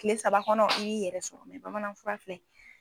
Tile saba kɔnɔ ni y'i yɛrɛ sɔrɔ, bamanan fura filɛ nin ye.